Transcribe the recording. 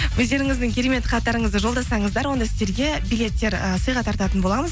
өздеріңізді керемет хаттарыңызды жолдасаңыздар онда сіздерге билеттер ііі сыйға тартатын боламыз